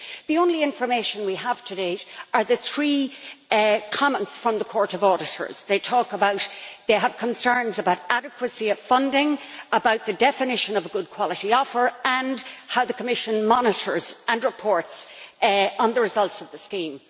The only information we have to date are the three comments from the Court of Auditors. They talk about having concerns about adequacy of funding, the definition of a good quality offer and how the Commission monitors and reports on the results of the scheme.